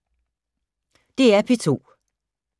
DR P2